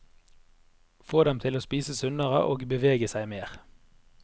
Få dem til å spise sunnere og bevege seg mer.